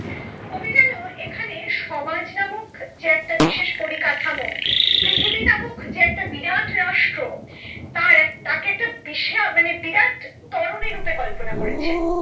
কবি যেন এখানে সমাজ নামক যে একটা বিশেষ পরিকাঠামো পৃথিবী নামক যে একটা বিরাট রাষ্ট্র তার এক তাকে একটা বিষে আহ বিরাট তরণী রূপে কল্পনা করেছেন।